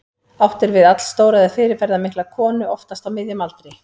Átt er við allstóra eða fyrirferðarmikla konu, oftast á miðjum aldri.